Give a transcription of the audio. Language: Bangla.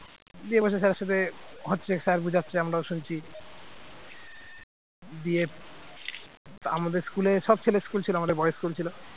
দিয়ে হচ্ছে sir র সাথে হচ্ছে sir বোঝাচ্ছে আমরাও শুনছি দিয়ে আমাদের school সব ছেলে school ছিল আমাদের boys school ছিল